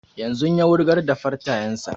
Yanzun ya wurgar da fartanyan sa